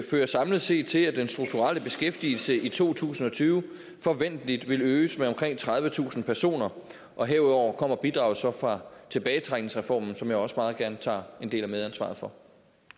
fører samlet set til at den strukturelle beskæftigelse i to tusind og tyve forventeligt vil øges med omkring tredivetusind personer og herudover kommer bidraget så fra tilbagetrækningsreformen som jeg også meget gerne tager en del af medansvaret for